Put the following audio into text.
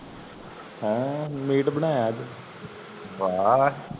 ਹਨ late ਬਨਾਯਾ ਅੱਜ